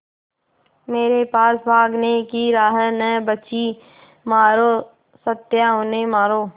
मेरे पास भागने की राह न बची मारो सत्या उन्हें मारो